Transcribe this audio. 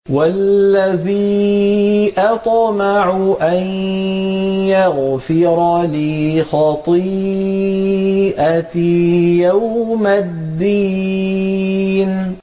وَالَّذِي أَطْمَعُ أَن يَغْفِرَ لِي خَطِيئَتِي يَوْمَ الدِّينِ